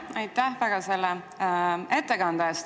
Aitäh selle ettekande eest!